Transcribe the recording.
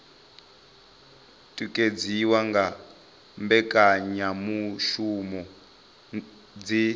o tikedziwa nga mbekanyamushumo dzi